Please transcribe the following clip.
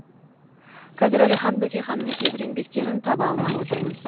қазір әлихан бөкейханның кейбір еңбектерін таба алмай отырмыз